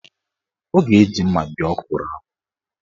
Ọ ga-eji mma bee ọkwụrụ ahụ.